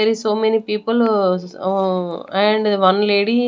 There is so many people ah ah and one lady --